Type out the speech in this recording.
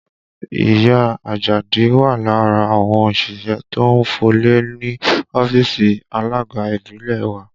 Ìyá Àjàdí wà lára àwọn òṣìṣẹ́ tó ń fọlẹ̀ ní ọ́fíìsì alága ìbílẹ̀ wa